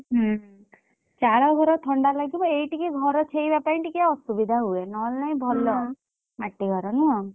ହୁଁ। ଚାଳ ଘର ଥଣ୍ଡା ଲାଗିବ ଏଇ ଟିକେ ଘର ଛେଇବା ପାଇଁ ଅସୁବିଧା ହୁଏ ନହେଲେ ନାଇଁ ଭଲ। ମାଟି ଘର ନୁହଁ।